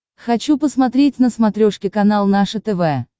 хочу посмотреть на смотрешке канал наше тв